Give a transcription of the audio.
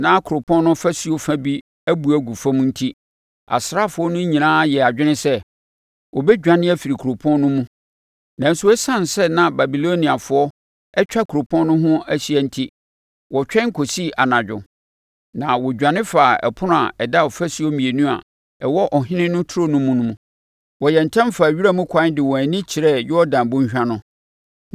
Na kuropɔn no ɔfasuo fa bi abu agu fam enti, asraafoɔ no nyinaa yɛɛ adwene sɛ, wɔbɛdwane afiri kuropɔn no mu. Nanso, ɛsiane sɛ na Babiloniafoɔ atwa kuropɔn no ho ahyia enti, wɔtwɛn kɔsii anadwo, na wɔdwane faa ɛpono a ɛda afasuo mmienu a ɛwɔ ɔhene no nturo no mu mu. Wɔyɛɛ ntɛm faa wiramkwan de wɔn ani kyerɛɛ Yordan bɔnhwa no.